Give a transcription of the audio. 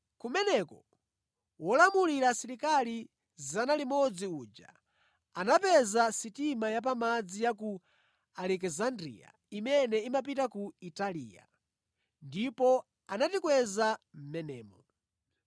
Kumeneko wolamulira asilikali 100 uja anapeza sitima ya pamadzi ya ku Alekisandriya imene imapita ku Italiya, ndipo anatikweza mʼmenemo.